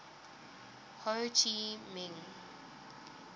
ho chi minh